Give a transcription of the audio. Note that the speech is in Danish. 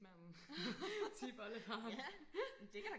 manden tip oldefaren